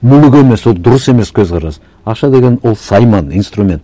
мүлік емес ол дұрыс емес көзқарас ақша деген ол сайман инструмент